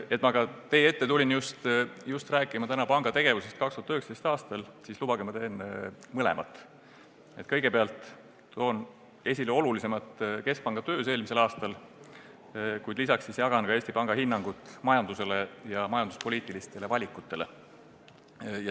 Et ma aga tulin teie ette rääkima just panga tegevusest 2019. aastal, siis lubage mul teha mõlemat – kõigepealt toon esile olulisemad tegemised keskpanga töös eelmisel aastal, kuid peale selle jagan ka Eesti Panga hinnangut majandusele ja majanduspoliitilistele valikutele.